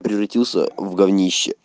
превратился в гавнище